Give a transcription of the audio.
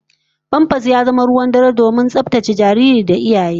Famfas ya zama ruwan dare kuma mai muhimmanci domin tsaftar jariri da iyaye